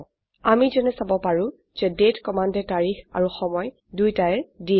আমি যেনে চাব পাৰো যে দাঁতে কমান্ডে তাৰিখ আৰু সময় দুইটায়ে দিয়ে